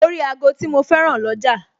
Mo rí ago tí mo féràn lọ́jà